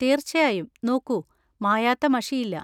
തീർച്ചയായും. നോക്കൂ, മായാത്ത മഷിയില്ല.